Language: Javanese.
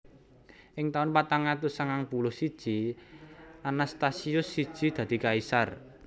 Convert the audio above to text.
Ing taun patang atus sangang puluh siji Anastasius siji dadi kaisar